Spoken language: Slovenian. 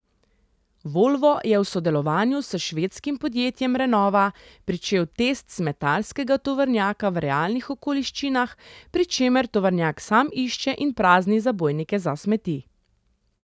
Volvo je v sodelovanju s švedskim podjetjem Renova pričel test smetarskega tovornjaka v realnih okoliščinah, pri čemer tovornjak sam išče in prazni zabojnike za smeti.